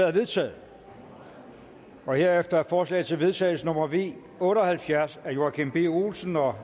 er vedtaget herefter er forslag til vedtagelse nummer v otte og halvfjerds af joachim b olsen og